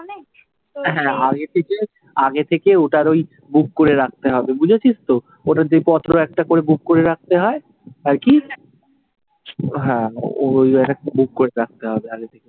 হ্যা আগে থেকে, আগে থেকে ওটার ওই বুক করে রাখতে হবে। বুঝেছিস তো? ওটার বছরে একটা করে বুক রাখতে হয়, তাই কি হ্যাঁ, ও বুক করে রাখতে হবে আগে থেকে।